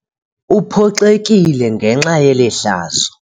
Uphoxekile ngenxa yeli hlazo.